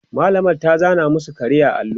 mallamar ta zana masu kare a allo